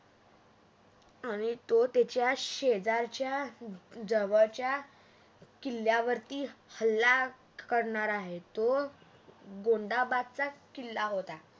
आणि तो त्याच्या शेजारच्या जवळच्या किल्ल्यावरती हल्ला करणार आहे. तो गोंधाबादचा किल्ला होता